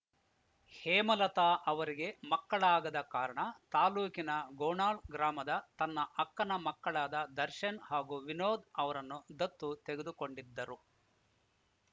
ಹೇಮಲತಾ ಅವರಿಗೆ ಮಕ್ಕಳಾಗದ ಕಾರಣ ತಾಲೂಕಿನ ಗೋನಾಳ್‌ ಗ್ರಾಮದ ತನ್ನ ಅಕ್ಕನ ಮಕ್ಕಳಾದ ದರ್ಶನ್‌ ಹಾಗೂ ವಿನೋದ್‌ ಅವರನ್ನು ದತ್ತು ತೆಗೆದುಕೊಂಡಿದ್ದರು